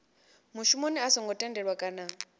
mushumoni a songo tendelwa kana